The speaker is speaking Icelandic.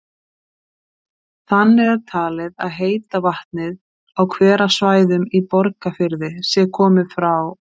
Þannig er talið að heita vatnið á hverasvæðum í Borgarfirði sé komið frá